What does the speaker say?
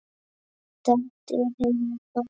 Dælt er heima hvað.